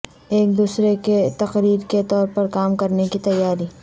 ایک دوسرے کے تقریر کے طور پر کام کرنے کی تیاری